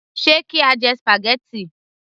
Ṣe kí á jẹ spaghetti